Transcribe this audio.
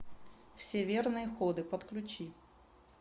все верные ходы подключи